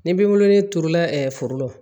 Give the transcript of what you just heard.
Ni bin wolonwula turula ɛ foro la